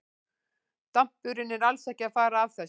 Dampurinn er alls ekki að fara af þessu.